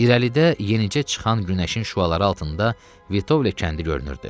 İrəlidə yenicə çıxan günəşin şüaları altında Vitovle kəndi görünürdü.